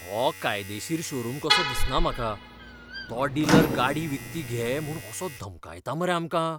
हो कायदेशीर शोरूम कसो दिसना म्हाका. तो डिलर गाडी विकती घे म्हूण असो धमकायता मरे आमकां!